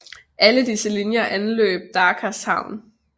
Alle disse linjer anløb Dakars havn